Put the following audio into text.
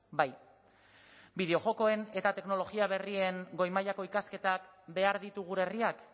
bai bideo jokoen eta teknologia berrien goi mailako ikasketak behar ditu gure herriak